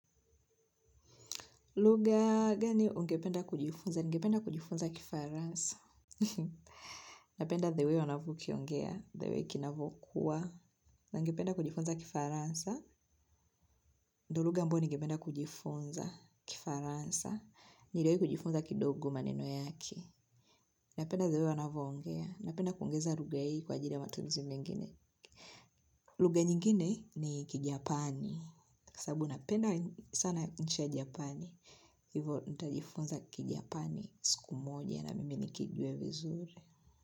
Lugha gani ungependa kujifunza? Ningependa kujifunza kifaransa. Napenda the way wanavyokiongea. The way kinavyokua. Na ningependa kujifunza kifaransa. Ndo lugha ambayo ningependa kujifunza kifaransa. Niliwahi kujifunza kidogo maneno yake. Napenda the way wanavyoongea, napenda kuongeza lugha hii kwa ajili ya matumizi mengine. Lugha nyingine ni kijapani. Sababu napenda sana nchi ya Japani. Hivyo nitajifunza kijapani siku moja na mimi nikijue vizuri.